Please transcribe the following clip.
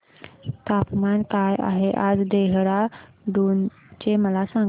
तापमान काय आहे आज देहराडून चे मला सांगा